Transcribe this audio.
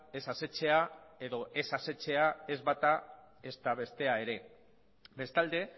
ez asetzea edo ez asetzea ez bata ezta bestea ere bestalde